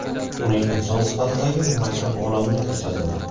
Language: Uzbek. uning inson sifatidagi murakkab olamini ko‘rsatadi.